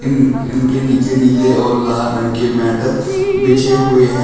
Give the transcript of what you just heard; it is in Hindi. इनके नीचे नील और लाल रंग के मैट बिछे हुए हैं।